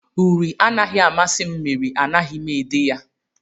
Uri anaghị amasị m mere anaghị m ede ya